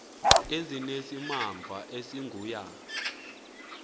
ezinesimamva esingu ya